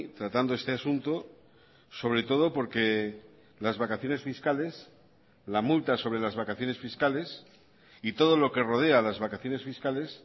tratando este asunto sobre todo porque las vacaciones fiscales la multa sobre las vacaciones fiscales y todo lo que rodea a las vacaciones fiscales